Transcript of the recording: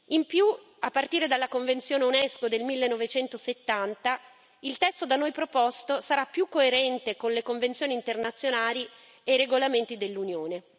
In più, a partire dalla Convenzione UNESCO del 1970, il testo da noi proposto sarà più coerente con le convenzioni internazionali e i regolamenti dell'Unione.